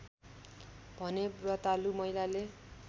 भने व्रतालु महिलाले